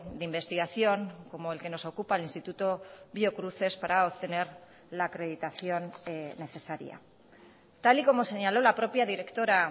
de investigación como el que nos ocupa el instituto biocruces para obtener la acreditación necesaria tal y como señaló la propia directora